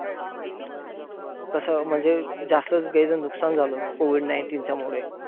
कसं म्हणजे जास्तचं नुकसान झालं, COVID nineteen च्या मुळे.